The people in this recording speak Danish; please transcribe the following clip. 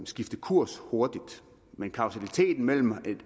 skifte kurs hurtigt men kausaliteten mellem